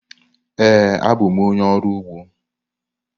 Ee, abụ m onye ọrụ ugbo.